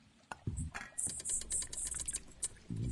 etejoki peyie ishukunye olkesi tenebo o fimne nikitooshoki